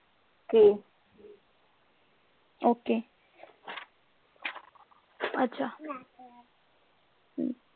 okay ਅੱਛਾ ਹਮ